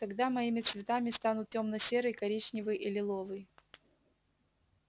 тогда моими цветами станут тёмно-серый коричневый и лиловый